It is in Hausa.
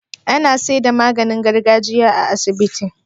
Ana seda maganin gargajiya a asibitin